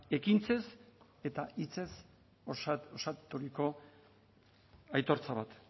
ekintzez eta hitzez osaturiko aitortza bat